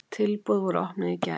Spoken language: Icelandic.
Tilboð voru opnuð í gær.